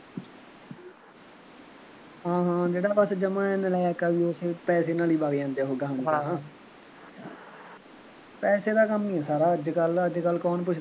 ਹਾਂ ਹਾਂ ਜਿਹੜਾ ਬਸ ਜਮਾਂ ਨਲਾਇਕ ਆ ਉਹ ਫੇਰ ਪੈਸੇ ਨਾਲ ਹੀ ਵਗ ਜਾਂਦੇ ਉਹ ਅਗਾਂਹ ਦੀ ਅਗਾਂਹ ਪੈਸੇ ਦਾ ਕੰਮ ਹੀ ਸਾਰਾ ਅੱਜਕੱਲ੍ਹ, ਅੱਜਕੱਲ੍ਹ ਕੌਣ ਪੁੱਛਦਾ